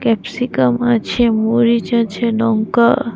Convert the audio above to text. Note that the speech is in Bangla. ক্যাপসিকাম আছে মরিচ আছে লঙ্কা।